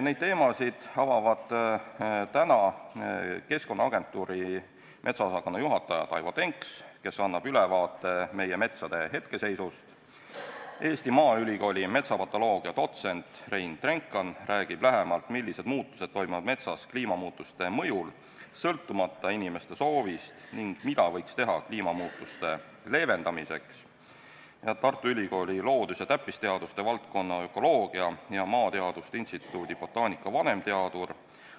Neid teemasid avavad täna Keskkonnaagentuuri metsaosakonna juhataja Taivo Denks, kes annab ülevaate meie metsade hetkeseisust, Eesti Maaülikooli metsapatoloogia dotsent Rein Drenkhan räägib lähemalt, millised muutused toimuvad metsas kliimamuutuste mõjul sõltumata inimeste soovist ning mida võiks teha kliimamuutuste leevendamiseks, ning Tartu Ülikooli loodus- ja täppisteaduste valdkonna ökoloogia ja maateaduste instituudi botaanika vanemteadur